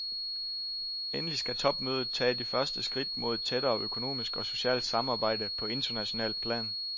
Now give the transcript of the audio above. Endelig skal topmødet tage de første skridt mod et tættere økonomisk og socialt samarbejde på internationalt plan.